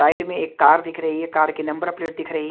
side में एक car दिख रही है कार के नंबर प्लेट दिख रही --